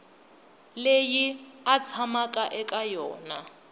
leyi a tshamaka eka yona